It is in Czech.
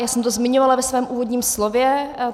Já jsem to zmiňovala ve svém úvodním slově.